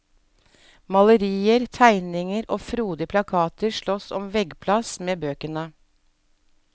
Malerier, tegninger og frodige plakater slåss om veggplass med bøkene.